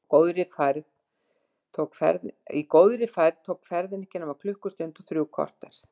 Í góðri færð tók ferðin ekki nema klukkustund og þrjú korter.